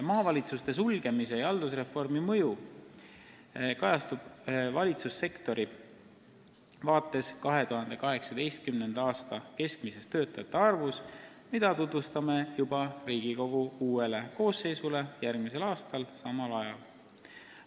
Maavalitsuste sulgemise ja haldusreformi mõju valitsussektoris kajastub ka 2018. aasta keskmises töötajate arvus, mille me anname Riigikogu uuele koosseisule teada järgmisel aastal samal ajal.